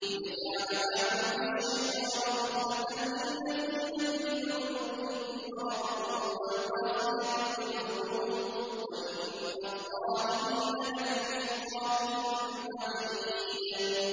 لِّيَجْعَلَ مَا يُلْقِي الشَّيْطَانُ فِتْنَةً لِّلَّذِينَ فِي قُلُوبِهِم مَّرَضٌ وَالْقَاسِيَةِ قُلُوبُهُمْ ۗ وَإِنَّ الظَّالِمِينَ لَفِي شِقَاقٍ بَعِيدٍ